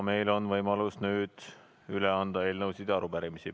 Meil on võimalus üle anda eelnõusid ja arupärimisi.